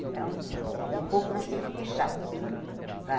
Então, um pouco nós temos que deixar para...